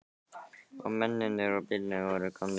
Og mennirnir úr bílunum voru komnir líka.